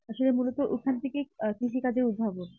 যে মূলত ওখান থেকেই কৃষিকাজের উদ্ভাবক